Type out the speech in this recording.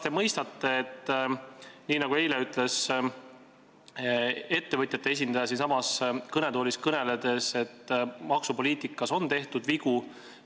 Eile ütles ettevõtjate esindaja siinsamas kõnetoolis kõneledes, et maksupoliitikas on tehtud vigu.